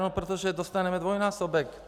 No protože dostaneme dvojnásobek.